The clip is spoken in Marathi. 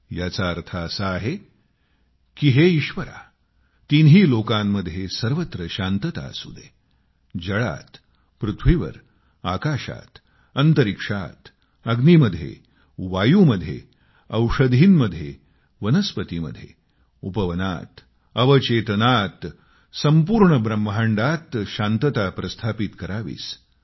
याचा अर्थ असा आहे की हे ईश्वर तिन्ही लोकांत सर्वत्र शांतता असू दे जलामध्ये पृथ्वीवर आकाशात अंतरिक्षात अग्नीमध्ये वायूमध्ये औषधीमध्ये वनस्पतीमध्ये उपवनात अवचेतनात संपूर्ण ब्रह्मांडात शांतता स्थापित करावीस